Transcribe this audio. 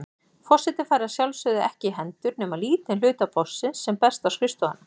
Forseti fær að sjálfsögðu ekki í hendur nema lítinn hluta póstsins sem berst á skrifstofuna.